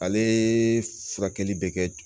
Ale furakɛli bɛ kɛ